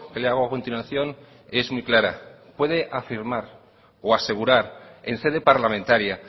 le hago a continuación es muy clara puede afirmar o asegurar en sede parlamentaria